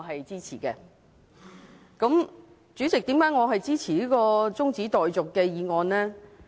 主席，我為何支持這項中止待續的議案？